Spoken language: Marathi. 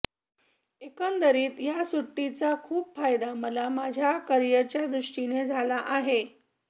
एकंदरीत या सुट्टीचा खूप फायदा मला माझ्या करीयरच्यादृष्टीने झाला आहे